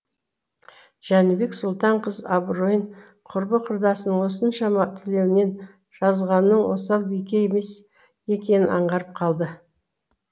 жәнібек сұлтан қыз абыройын құрбы құрдасының осыншама тілеуінен жазғанның осал бике емес екенін аңғарып қалды